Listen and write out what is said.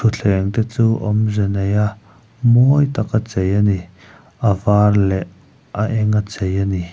thuthleng te chu awmze nei a mawi taka chei a ni a var leh a eng a chei ani.